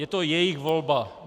Je to jejich volba.